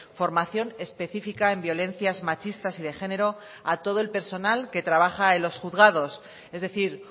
formación específica en violencias machistas y de género a todo el personal que trabaja en los juzgados es decir